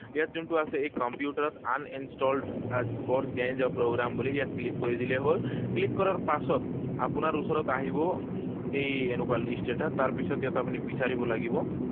ইয়াত যোনটো আছে এই কম্পিউটাৰত uninstalled or change a program বুলি, ইয়াত click কৰি দিলেই হল Click কৰাৰ পাছত আপোনাৰ ওচৰত আহিব এই এনেকুৱা list এটা। তাৰপিছত ইয়াত আপুনি বিচাৰিব লাগিব।